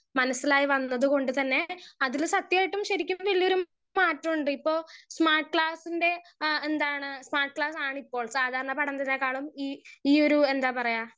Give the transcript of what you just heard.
speaker 1 മനസിലായി വന്നത് കൊണ്ട് തന്നെ അതിന് സത്യായിട്ടും ശരിക്കും വല്യൊരു മാറ്റുണ്ട് ഇപ്പൊ സ്‍മാർട്ട് ക്ലാസ്സിന്റെ ആ എന്താണ് സ്മാർട്ട് ക്ലാസ് ആണ് ഇപ്പോൾ സാധാരണ പഠനത്തേക്കാളും ഇ ഈ ഒരു എന്താ പറയാ